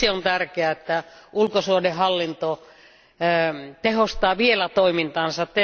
Siksi on tärkeää, että ulkosuhdehallinto tehostaa vielä toimintaansa.